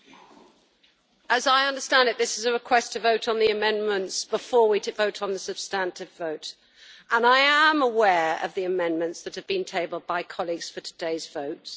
Mr President, as I understand it, this is a request to vote on the amendments before we vote on the substantive vote, and I am aware of the amendments that have been tabled by colleagues for today's votes.